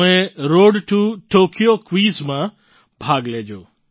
તમે road to Tokyo Quizમાં ભાગ લેજો